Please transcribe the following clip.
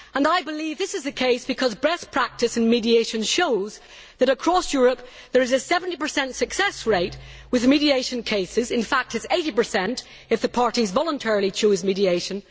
I believe this is the case because best practice in mediation shows that across Europe there is a 70 success rate with mediation cases, and in fact this rises to 80 if the parties voluntarily choose mediation.